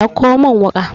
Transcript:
dauko min wuka!